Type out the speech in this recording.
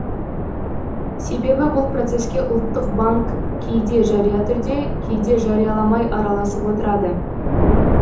себебі бұл процеске ұлттық банк кейде жария түрде кейде жарияламай араласып отырады